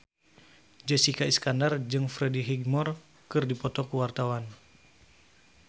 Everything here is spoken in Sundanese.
Jessica Iskandar jeung Freddie Highmore keur dipoto ku wartawan